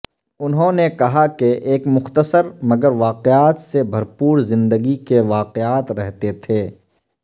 انہوں نے کہا کہ ایک مختصر مگر واقعات سے بھرپور زندگی کے واقعات رہتے تھے